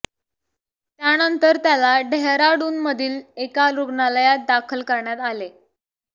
त्यानंतर त्याला डेहराडूनमधील एका रुग्णालयात दाखल करण्यात आले आहे